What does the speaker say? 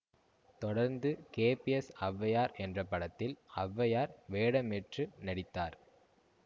தொடர்ந்து கேபிஎஸ் ஔவையார் என்ற படத்தில் ஔவையார் வேடமேற்று நடித்தார்